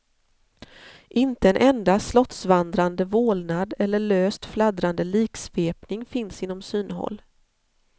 Inte en enda slottsvandrande vålnad eller löst fladdrande liksvepning finns inom synhåll.